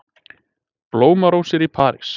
Blómarósir í París